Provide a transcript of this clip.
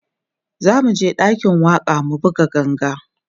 zamuje ɗakin waƙa mu buga ganga